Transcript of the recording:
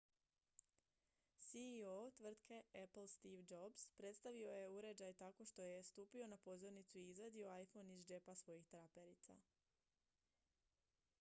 ceo tvrtke apple steve jobs predstavio je uređaj tako što je stupio na pozornicu i izvadio iphone iz džepa svojih traperica